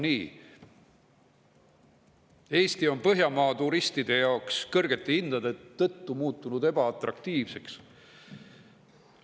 Eesti on muutunud Põhjamaade turistide jaoks kõrgete hindade tõttu ebaatraktiivseks.